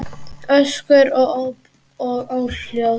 Öskur og óp og óhljóð.